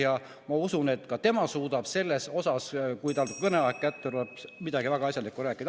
Ja ma usun, et ka tema suudab selle kohta, kui ta kõneaeg kätte tuleb, midagi väga asjalikku rääkida.